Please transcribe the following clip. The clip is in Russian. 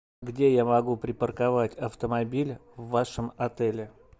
где я могу припарковать автомобиль в вашем отеле